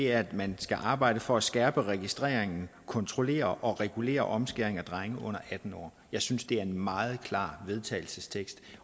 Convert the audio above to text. er at man skal arbejde for at skærpe registreringen af kontrollere og regulere omskæring af drenge under atten år jeg synes det er en meget klar vedtagelsestekst